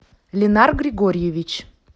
линар григорьевич